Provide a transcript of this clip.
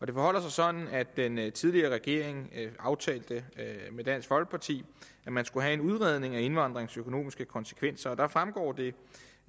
det forholder sig sådan at den tidligere regering aftalte med dansk folkeparti at man skulle have en udredning af indvandringens økonomiske konsekvenser der fremgår det